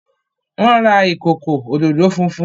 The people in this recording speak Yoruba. wón ra ikoko ododo funfun